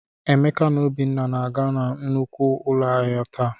Emeka na Obinna na-aga nnukwu ụlọ ahịa taa.